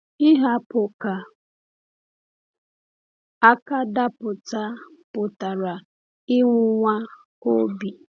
Ihapụ ka aka daa pụta pụtara ịnwụnwa obi.